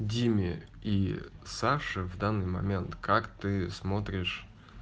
диме и саше в данный момент как ты смотришь